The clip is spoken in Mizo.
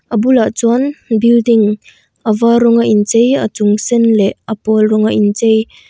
a bulah chuan building a var rawng a inchei a chung sen leh a pawl rawng a in chei--